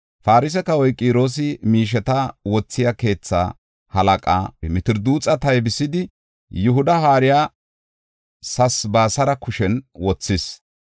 Farse kawoy Qiroosi miisheta wothiya keetha halaqaa Mitirdaaxu taybisidi, Yihuda haariya Sesabisaara kushen wothis.